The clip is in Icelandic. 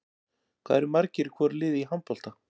Hvað eru margir í hvoru liði í handbolta?